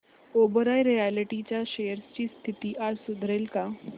Oberoi realty च्या shares ची स्थिती आज सुधारेल का